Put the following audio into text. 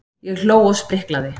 Ég hló og spriklaði.